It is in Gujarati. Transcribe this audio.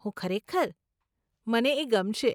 હું ખરેખર? મને એ ગમશે.